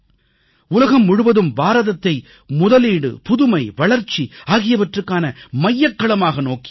உலகம் முழுவதும் பாரதத்தை முதலீடு புதுமை வளர்ச்சி ஆகியவற்றிற்கான மையக்களமாக நோக்கியிருக்கிறது